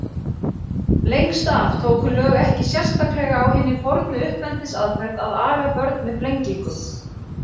Lengst af tóku lög ekki sérstaklega á hinni fornu uppeldisaðferð að aga börn með flengingum.